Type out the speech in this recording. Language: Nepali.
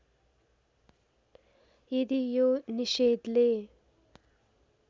यदि यो निषेधले